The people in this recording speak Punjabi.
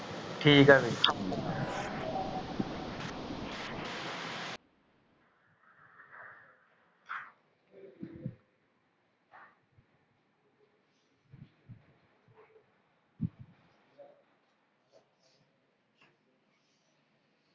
ਠੀਕ ਹੈ ਫਿਰ